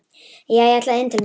Jæja, ég ætla inn til mín.